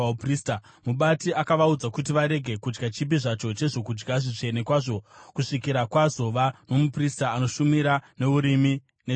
Mubati akavaudza kuti varege kudya chipi zvacho chezvokudya zvitsvene kwazvo kusvikira kwazova nomuprista anoshumira neUrimi neTumimi.